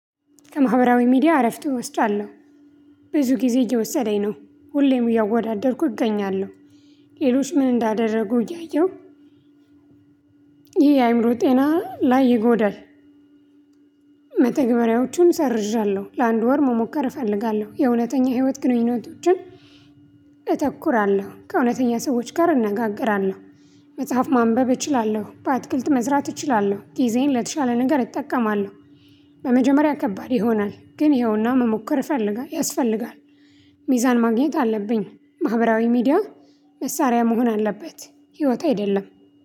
ከማህበራዊ ሚዲያ እረፍት እወስዳለሁ። ብዙ ጊዜ እየወሰደኝ ነው ሁሌም እያወዳደርኩ እገኛለሁ። ሌሎች ምን እንዳደረጉ እያየሁ ይሄ የአእምሮ ጤና ላይ ይጎዳል። መተግበሪያዎቹን ሰርዣለሁ ለአንድ ወር መሞከር እፈልጋለሁ የእውነተኛ ህይወት ግንኙነቶችን። እተኩራለሁ ከእውነተኛ ሰዎች ጋር እነጋገራለሁ። መጽሐፍ ማንበብ እችላለሁ በአትክልት መስራት እችላለሁ ጊዜዬን ለተሻለ ነገር እጠቀማለሁ። በመጀመሪያ ከባድ ይሆናል ግን ይኸውና መሞከር ይፈልጋል ያስፈልጋል። ሚዛን ማግኘት አለብኝ። ማህበራዊ ሚዲያ መሳሪያ መሆን አለበት። ህይወት አይደለም።